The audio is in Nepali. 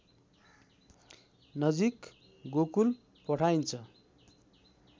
नजिक गोकुल पठाइन्छ